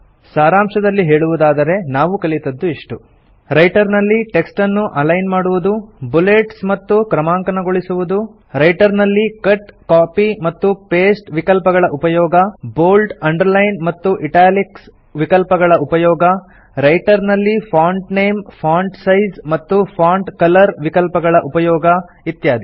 ಸಾರಾಂಶದಲ್ಲಿ ಹೇಳುವುದಾದರೆ ನಾವು ಕಲಿತದ್ದು ಇಷ್ಟು ರೈಟರ್ ನಲ್ಲಿ ಟೆಕ್ಸ್ಟ್ ಅನ್ನು ಅಲೈನ್ ಮಾಡುವುದು ಬುಲೆಟ್ಸ್ ಮತ್ತು ಕ್ರಮಾಂಕನಗೊಳಿಸುವುದು ರೈಟರ್ ನಲ್ಲಿ ಕಟ್ ಕಾಪಿ ಮತ್ತು ಪಾಸ್ಟೆ ವಿಕಲ್ಪಗಳ ಉಪಯೋಗ ಬೋಲ್ಡ್ ಅಂಡರ್ಲೈನ್ ಮತ್ತು ಇಟಾಲಿಕ್ಸ್ ವಿಕಲ್ಪಗಳ ಉಪಯೋಗ ರೈಟರ್ ನಲ್ಲಿ ಫಾಂಟ್ ನೇಮ್ ಫಾಂಟ್ ಸೈಜ್ ಮತ್ತು ಫಾಂಟ್ ಕಲರ್ ವಿಕಲ್ಪಗಳ ಉಪಯೋಗ ಇತ್ಯಾದಿ